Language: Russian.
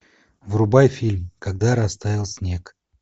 врубай фильм когда растаял снег